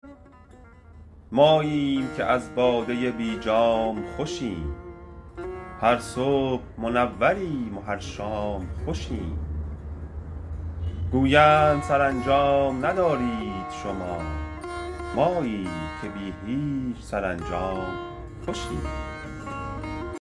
ماییم که از باده بی جام خوشیم هر صبح منوریم و هر شام خوشیم گویند سرانجام ندارید شما ماییم که بی هیچ سرانجام خوشیم